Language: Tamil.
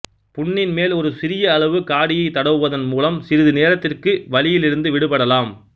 புண்ணின் மேல் ஒரு சிறிய அளவு காடியை தடவுவதன் மூலம் சிறிது நேரத்திற்கு வலியிலிருந்து விடுபடலாம்